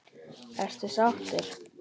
Ertu sáttur?